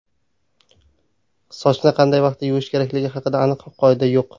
Sochni qancha vaqtda yuvish kerakligi haqida aniq qoida yo‘q.